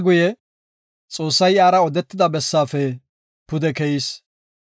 Xoossay iyara odetida bessaafe pude keyis.